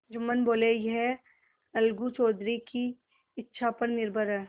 जुम्मन बोलेयह अलगू चौधरी की इच्छा पर निर्भर है